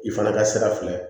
I fana ka sira fila ye